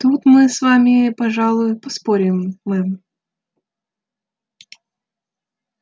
тут мы с вами пожалуй поспорим мэм